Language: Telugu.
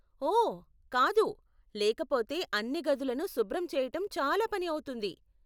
ఓ, కాదు, లేకపోతే అన్నీ గదులను శుభ్రం చెయ్యటం చాలా పని అవుతుంది.